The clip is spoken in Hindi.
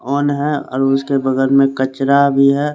ऑन है और उसके बगल में कचरा भी है।